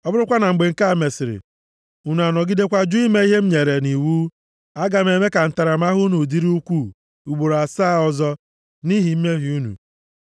“ ‘Ọ bụrụkwa na mgbe nke a mesịrị, unu anọgidekwa jụ ime ihe m nyere nʼiwu, aga m eme ka ntaramahụhụ unu dịrị ukwuu, ugboro asaa ọzọ, nʼihi mmehie unu.